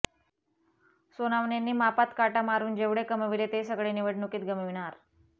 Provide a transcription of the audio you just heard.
सोनावणेंनी मापात काटा मारून जेवढे कमविले ते सगळे निवडणुकीत गमविणार